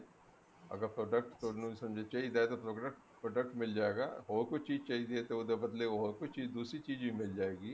ਅਗਰ product ਤੁਹਾਨੂੰ ਚਾਹੀਦਾ ਤਾਂ product ਤੁਹਾਨੂੰ ਮਿਲ ਜਾਏਗਾ ਹੋਰ ਕੋਈ ਚੀਜ ਚਾਹੀਦੀ ਹੈ ਤਾਂ ਉਹਦੇ ਬਦਲੇ ਹੋਰ ਕੋਈ ਚੀਜ ਕੋਈ ਦੂਸਰੀ ਚੀਜ ਵੀ ਮਿਲ ਜਾਏਗੀ